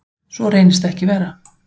Svo reynist ekki vera.